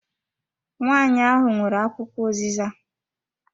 Nwanyi ahụ nwere akwụkwọ uziza.